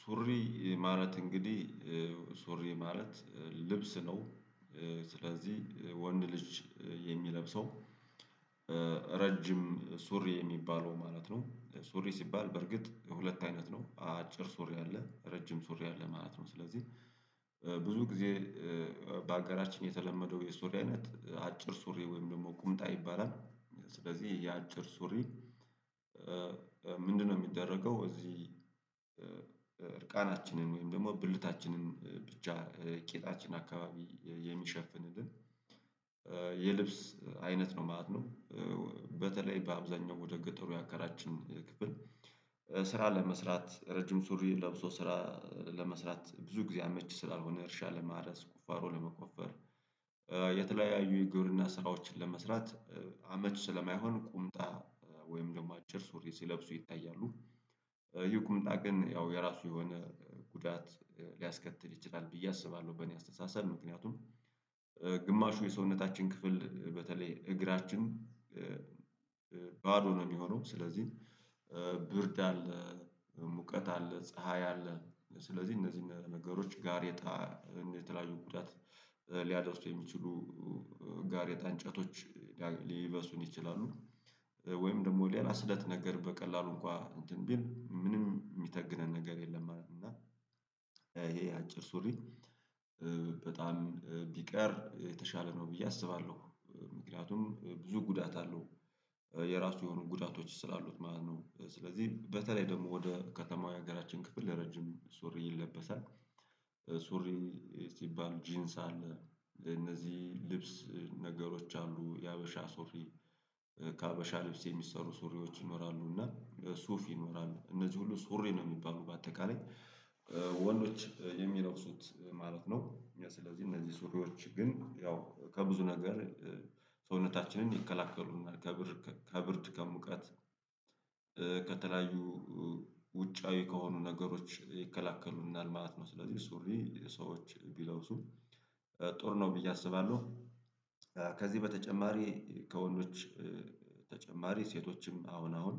ሱሪ ማለት እንግዲህ ሱሪ ማለት ልብስ ነው። ስለዚህ ወንድ ልጅ የሚለብሰው ረጅም ሱሪ የሚባለው ማለት ነው ሱሪ ሲባል በእርግጥ ሁለት አይነት ነው አጭር ሱሪ አለ ረጅም ሱሪ አለ ማለት ነው። ስለዚህ ብዙ ጊዜ በአጋራችን የተለመደው የሱሪ አይነት አጭር ሱሪ ወይም ደግሞ ቁምጣ ይባላል ስለዚህ የአጭር ሱሪ? ምንድነው የሚደረገው እዚህ እርቃናችንን ወይም ደግሞ ብልታችንን ብቻ ቂጣችን አካባቢ የሚሸፍንልን የልብስ አይነት ነው ማለት ነው። በተለይ በአብዛኛው ወደ ገጠሩ የአገራችን ክፍል ስራ ለመስራት ረጅም ሱሪ ለብሶ ስራ ለመስራት ብዙ ጊዜ አመቺ ስላልሆነ እርሻ ለማረስ ቁፋሮ ለመቆፈር የተለያዩ የግብርና ስራዎችን ለመስራት አመቺ ስለማይሆን ቁምጣ ወይም ደግሞ አጭር ሱሪ ሲለብሱ ይታያሉ። ይህ ቁምጣ ግን ያው የራሱ የሆነ ጉዳት ሊያስከትል ይችላል ብዬ አስባለሁ በእኔ አስተሳሰብ ምክንያቱም። ግማሹ የሰውነታችን ክፍል በተለይ እግራችን ባዶ ነው የሚሆነው ስለዚህ ብርድ አለ። ሙቀት አለ ፀሀይ አለ ስለዚህ እነዚህ ነገሮች ጋር የተለያዩ ጉዳት ሊያደርሱ የሚችሉ ጋሬጣ እንጨቶች ሊበሱን ይችላሉ ወይም ደግሞ ሌላ ስለት ነገር በቀላሉ እንኳ እንትን ቢል ምንም የሚተግነን ነገር የለም። እና ይሄ አጭር ሱሪ በጣም ቢቀር የተሻለ ነው ብዬ አስባለሁ ምክንያቱም ብዙ ጉዳት አለው የራሱ የሆኑ ጉዳቶች ስላሉት ማለት ነው። ስለዚህ በተለይ ደግሞ ወደ ከተማው የሀገራችን ክፍል ረጅም ሱሪ ይለበሳል። ሱሪ ሲባል ጂንስ አለ ለነዚህ ልብስ ነገሮች አሉ የሀበሻ ሱሪ ከሀበሻ ልብስ የሚሰሩ ሱሪዎች ይኖራሉ እና ሱፍ ይኖራሉ እነዚህ ሁሉ ሱሪ ነው የሚባሉት በአጠቃላይ ወንዶች የሚለብሱት ማለት ነው። ስለዚህ እነዚህ ሱሪዎች ግን ያው ከብዙ ነገር ሰውነታችንን ይከላከሉልናል ከብርድ ከብርድ ከሙቀት ከተለያዩ ውጫዊ ከሆኑ ነገሮች ይከላከሉናል ማለት ስለዚህ ሱሪ ሰዎች ቢለብሱ ጥሩ ነው ብዬ አስባለሁ። ከዚህ በተጨማሪ ከወንዶዎች በተጨማሪ ሴቶችም አሁን አሁን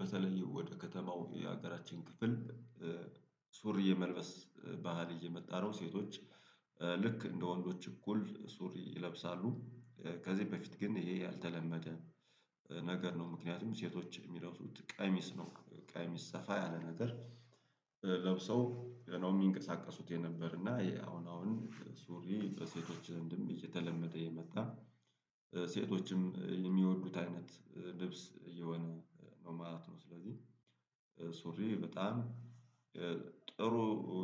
በተለይ ወደ ከተማው የሀገራችን ክፍል ሱሪ የመልበስ ባህል እየመጣ ነው ሴቶች ልክ እንደ ወንዶች እኩል ሱሪ ይለብሳሉ። ከዚህ በፊት ግን ይሄ ያልተለመደ ነገር ነው ምክንያቱም ሴቶች የሚለብሱት ቀሚስ ነው ቀሚስ ሰፋ ያለ ነገር ለብሰው ነው የሚንቀሳቀሱት የነበር እና የአሁን አሁን ሱሪ በሴቶች እንደውም እየተለመደ የመጣ ሴቶችም የሚወዱት አይነት ልብስ እየሆነ ነው ማለት። ስለዚህ ሱሪ በጣም ጥሩ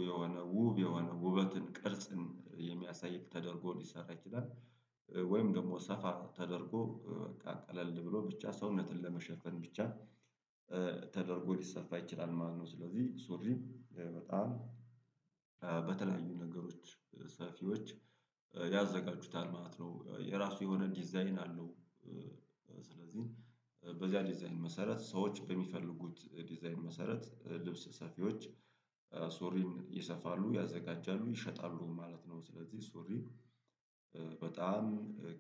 የሆነ ውብ የሆነ ውበትን ቅርጽን የሚያሳይ ተደርጎ ሊሰራ ይችላል ወይም ደግሞ ሰፋ ተደርጎ በቃ ቀለል ብሎ ብቻ ሰውነትን ለመሸፈን ብቻ ተደርጎ ሊሰፋ ይችላል ማለት ነው። ስለዚህ ሱሪ በጣም በተለያዩ ነገሮች ሰፊዎች ያዘጋጁታል ማለት ነው የራሱ የሆነ ዲዛይን አለው ስለዚህ በዚያ ዲዛይን መሰረት ሰዎች በሚፈልጉት ዲዛይን መሰረት ልብስ ሰፊዎች ሱሪን ይሰፋሉ ያዘጋጃሉ ይሸጣሉ ማለት ነው። ስለዚህ ሱሪ በጣም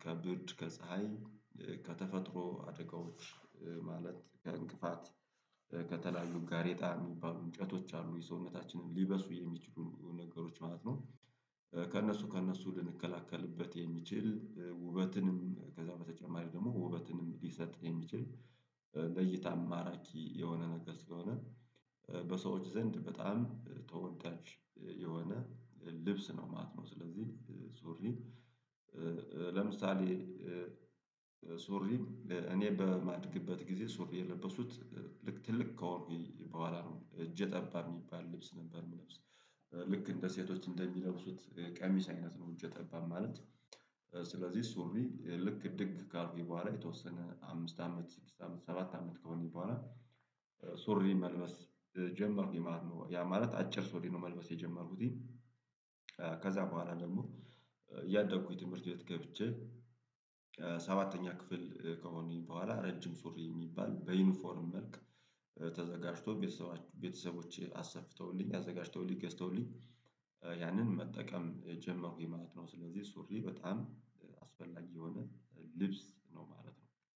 ከብርድ ከፀሀይ ከተፈጥሮ አደጋዎች ማለት ከእንቅፋት ከተለያዩ ጋሬጣ የሚባሉ እንጨቶች አሉ የሰውነታችንን ሊበሱ የሚችሉ ነገሮች ማለት ነው ከእነሱ ከእነሱ ልንከላከልበት የሚችል ውበትንም ከዛ በተጨማሪ ደግሞ ውበትንም ሊሰጥ የሚችል ለእይታም ማራኪ የሆነ ነገር ስለሆነ በሰዎች ዘንድ በጣም ተወዳጅ የሆነ ልብስ ነው ማለት ነው። ስለዚህ ሱሪ ለምሳሌ ሱሪ እኔ በማድግበት ጊዜ ሱሪ የለበሱት ልክ ትልቅ ከሆንኩኝ በኋላ ነው እጀ ጠባብ የሚባል ልብስ ነበር የምለብሰው። ልክ እንደ ሴቶች እንደሚለብሱት ቀሚስ አይነት ነው እጀ ጠባብ ማለት ስለዚህ ሱሪ ልክ እድግ ካልኩኝ በኋላ የተወሰነ አምስት አመት ሰባት አመት ከሆነኝ በኋላ ሱሪ መልበስ ጀመርኩኝ ማለት ነው። ያ ማለት አጭር ሱሪ ነው መልበስ የጀመርኩትኝ ከዛ በኋላ ደግሞ እያደግኩኝ ትምህርት ቤት ገብቼ ሰባተኛ ክፍል ከሆነኝ በኋላ ረጅም ሱሪ የሚባል በዩኒፎርም መልክ ተዘጋጅቶ ቤተሰቦቼ አሰፍተውልኝ አዘጋጅተውልኝ ገዝተውልኝ ያንን መጠቀም ጀመርኩኝ ማለት ነው። ስለዚህ ሱሪ በጣም አስፈላጊ የሆነ ልብስ ነው ማለት ነው።